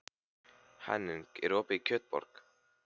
Henning, er opið í Kjötborg?